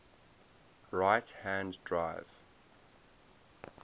right hand drive